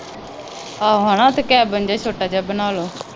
ਆਹੋ ਹਨਾ ਅਤੇ ਕੈਬਿਨ ਜਿਹਾ ਛੋਟਾ ਜਿਹਾ ਬਣਾ ਲਉ